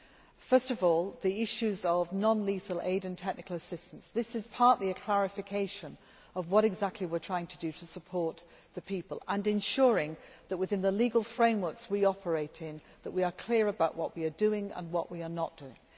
Regarding the issues of non lethal aid and technical assistance this is partly a clarification of what exactly we are trying to do to support the people, and ensuring, within the legal frameworks we operate in, that we are clear about what we are doing and what we are not doing.